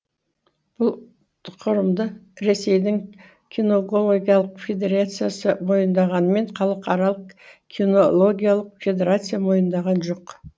бұл тұқырымды ресейдің киногогиялық федерациясы мойындағанымен халықаралық кинологиялық федерация мойындаған жоқ